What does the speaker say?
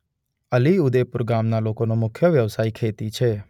અલીઉદેપુર ગામના લોકોનો મુખ્ય વ્યવસાય ખેતી છે.